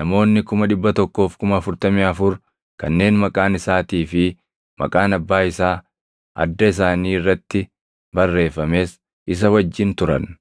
namoonni 144,000, kanneen maqaan isaatii fi maqaan Abbaa isaa adda isaanii irratti barreeffames isa wajjin turan.